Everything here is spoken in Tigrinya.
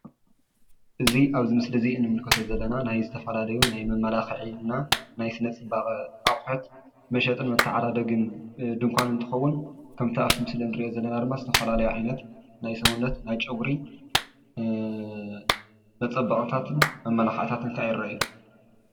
እዚ ኣብዚ ምስሊ እዚ እንምልከቶ ዘለና ናይ ዝተፈላለዩ ናይ መማላክዒ እና ናይ ስነ ፅባቀ አቁሑት መሸጥን መተዓዳደግን ድንኳን እንትከውን ከምቲ ኣብቲ ምስሊ እንሪኦ ዘለና ድማ ዝተፈላለዩ ዓይነት ናይ ሰውነት ናይ ጨጉሪ መፀበቅታትን መማላክዕታትን ከዓ ይረአ።